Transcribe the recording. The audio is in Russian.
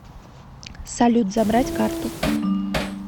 салют забрать карту